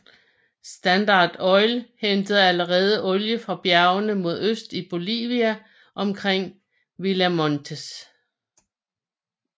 Standard Oil hentede allerede olie fra bjergene mod øst i Bolivia omkring Villa Montes